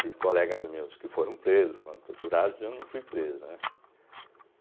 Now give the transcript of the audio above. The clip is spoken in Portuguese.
Tive colegas meus que foram presos, foram torturados e eu não fui preso, né?